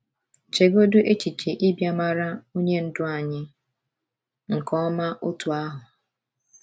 Chegodị echiche ịbịa mara Onye Ndú anyị nke ọma otú ahụ!